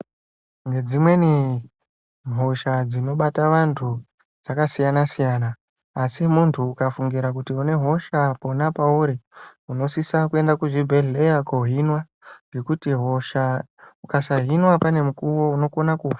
Dzimweni hosha dzinobata antu dzakasiyana siyana asi muntu ukafungira kuti une hosha pona pauri unosisa kuenda kuzvibhedhleya ngekuti hosha ukasahinwa pane mukuwo unokona kufa.